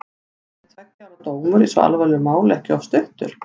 Er tveggja ára dómur í svo alvarlegu máli ekki of stuttur?